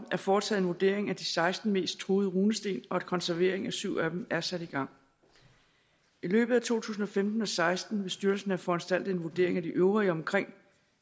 er foretaget en vurdering af de seksten mest truede runesten og at konservering af syv af dem er sat i gang i løbet af to tusind og femten og seksten vil styrelsen have foranstaltet en vurdering af de øvrige omkring